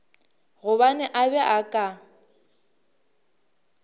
gobane a be a ka